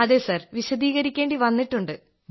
അതേ വിശദീകരിക്കേണ്ടി വന്നിട്ടുണ്ട്